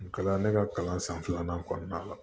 Kalan ne ka kalan san filanan kɔnɔna la